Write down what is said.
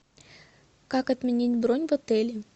как отменить бронь в отеле